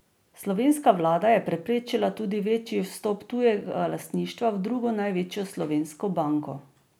Slovenska vlada je preprečila tudi večji vstop tujega lastništva v drugo največjo slovensko banko.